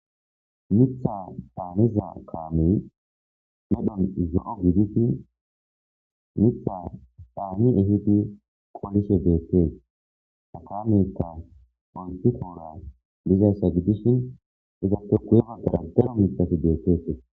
Mitha daaneza kaamey medhon zo'o gidishi mitha dhaani ifiti qolishe deettee ta kameta antikoora bizayssa gidishin izappe guyema dara daro mithafi deettetee.